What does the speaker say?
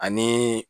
Ani